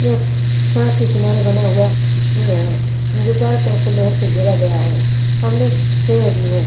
यह स स सड़क के किनारे बना हुआ अँ वो है जो चारों तरफ से लोहे से घेरा गया है सामने पेड़ भी है।